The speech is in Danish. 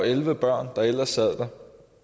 elleve børn der ellers sad der